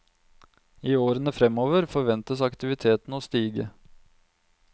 I årene fremover forventes aktiviteten å stige.